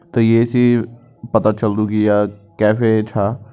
त ये सी पता चल्दु की या केफे छा।